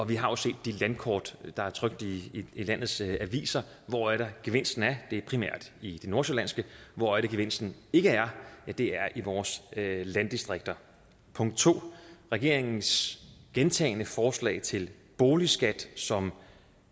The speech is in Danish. vi har jo set de landkort der er trykt i landets aviser hvor er det gevinsten er det er primært i det nordsjællandske hvor er det gevinsten ikke er det er i vores landdistrikter 2 regeringens gentagne forslag til boligskat som